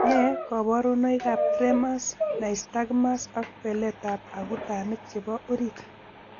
Nee kabarunoikab Tremors, nystagmus ak beletab akutanik chebo orit?